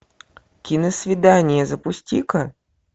киносвидание запусти ка